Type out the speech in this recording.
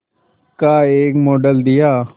का एक मॉडल दिया